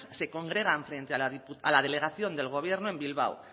se congregan frente a la delegación del gobierno en bilbao